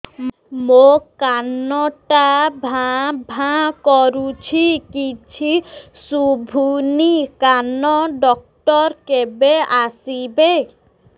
ମୋ କାନ ଟା ଭାଁ ଭାଁ କରୁଛି କିଛି ଶୁଭୁନି କାନ ଡକ୍ଟର କେବେ ଆସିବେ